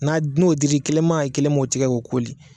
N'a n'o dili kelen ma ye kelen m'o tigɛ k'o koori.